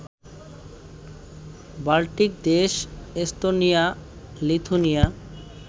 Baltic দেশ Estonia, Lithuania